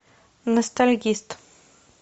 ностальгист